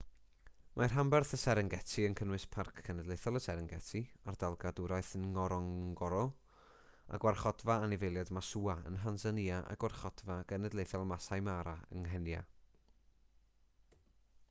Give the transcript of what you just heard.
mae rhanbarth y serengeti yn cynnwys parc cenedlaethol y serengeti ardal gadwraeth ngorongoro a gwarchodfa anifeiliaid maswa yn nhansanïa a gwarchodfa genedlaethol maasai mara yng nghenia